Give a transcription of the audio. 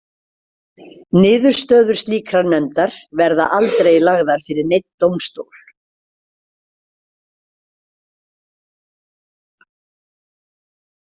Niðurstöður slíkrar nefndar verða aldrei lagðar fyrir neinn dómstól.